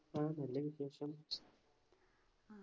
ആ നല്ല വിശേഷം